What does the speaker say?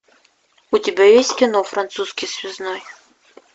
у тебя есть кино французский связной